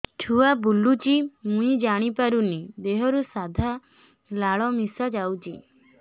ଛୁଆ ବୁଲୁଚି ମୁଇ ଜାଣିପାରୁନି ଦେହରୁ ସାଧା ଲାଳ ମିଶା ଯାଉଚି